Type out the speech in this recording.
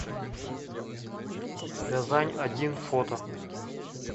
рязань один фото